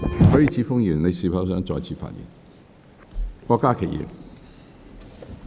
許智峯議員，你是否想再次發言？